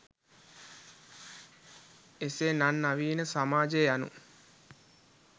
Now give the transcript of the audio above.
එසේ නන් නවීන සමාජය යනු